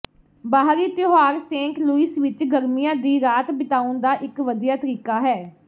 ਬਾਹਰੀ ਤਿਉਹਾਰ Saint Louis ਵਿਚ ਗਰਮੀਆਂ ਦੀ ਰਾਤ ਬਿਤਾਉਣ ਦਾ ਇਕ ਵਧੀਆ ਤਰੀਕਾ ਹੈ